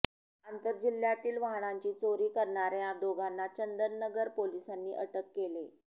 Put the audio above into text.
आंतरजिल्ह्यातील वाहनांची चोरी करणाऱ्या दोघांना चंदननगर पोलिसांनी अटक केले